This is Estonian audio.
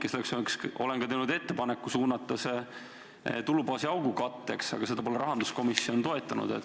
Ja seepärast olen teinud ettepaneku suunata see raha tulubaasi augu katteks, aga seda pole rahanduskomisjon toetanud.